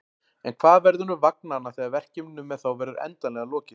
En hvað verður um vagnanna þegar verkefninu með þá verður endanlega lokið?